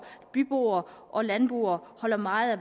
byboere og landboere holder meget af